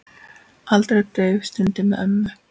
Aldrei dauf stund með ömmu.